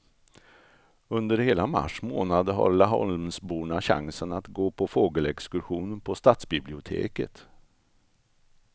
Under hela mars månad har laholmsborna chansen att gå på fågelexkursion på stadsbiblioteket.